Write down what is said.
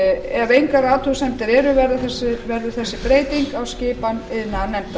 ef engar athugasemdir eru verður þessi breyting á skipan iðnaðarnefndar